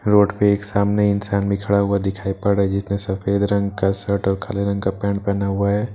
Road पे एक सामने इंसान भी खड़ा हुआ दिखाई पड़ रहा जिसने सफेद रंग का सर्ट और काले रंग का पैंट पेहना हुआ है।